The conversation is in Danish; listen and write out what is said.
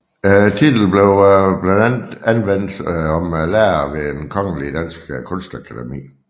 Titlen blev blandt andet anvendt om lærere ved Det Kongelige Danske Kunstakademi